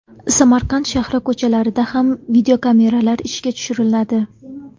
Samarqand shahri ko‘chalarida ham videokameralar ishga tushiriladi.